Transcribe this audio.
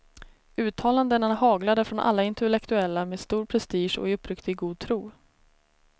Uttalandena haglade från alla intellektuella med stor prestige och i uppriktig god tro.